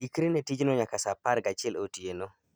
ikri ne tijno nyaka sa apar gachiel otieno